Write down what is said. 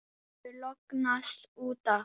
Þú hefur lognast út af!